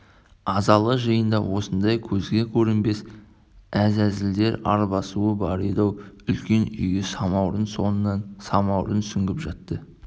азалы жиында осындай көзге көрінбес әзәзілдер арбасуы бар еді-ау үлкен үйге самаурын соңынан самаурын сүңгіп жатты